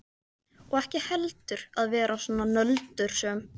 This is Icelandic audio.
Og ekki heldur að vera svona nöldursöm.